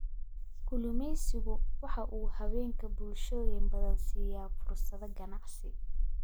Kalluumaysigu waxa uu haweenka bulshooyin badan siiya fursado ganacsi.